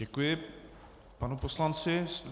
Děkuji panu poslanci.